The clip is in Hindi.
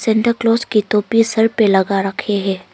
सेंटा क्लास की टोपी सर पे लगा रखे हैं।